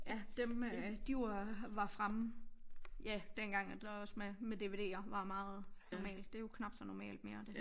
Ja dem øh de var var fremme ja dengang at der også med med dvd'er var meget normalt det er jo knap så normalt mere